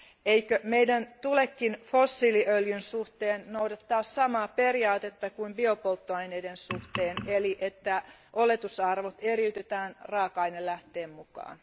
Eikö meidän tulekin fossiiliöljyn suhteen noudattaa samaa periaatetta kuin biopolttoaineiden suhteen eli että oletusarvot eriytetään raaka ainelähteen mukaan?